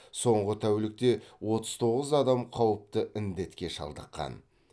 соңғы тәулікте отыз тоғыз адам қауіпті індетке шалдыққан